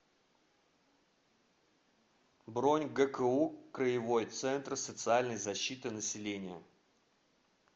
бронь гку краевой центр социальной защиты населения